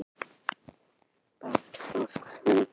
Ég sá Júlíu sem hafði verið nánast móðurlaus í þennan tíma.